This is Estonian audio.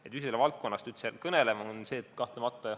Miks me sellest valdkonnast üldse kõneleme?